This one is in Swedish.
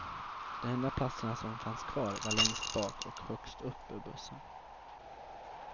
De enda platserna som fanns kvar var längst bak och högst upp i bussen.